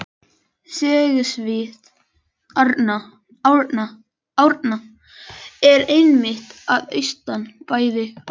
Sögusvið Árna er einmitt að austan bæði og vestan